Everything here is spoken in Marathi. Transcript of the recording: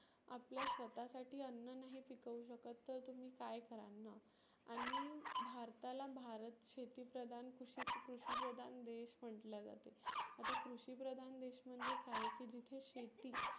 आपल्या स्वतः साठी अन्न नाही पिकवू शकत तर तुम्ही काय कराल ना. आणि भारताला भारत शेती प्रदान कृषी कृषी प्रदान देश म्हटलं जातं. आता कृषी प्रदान देश म्हणजे काय की जिथे शेती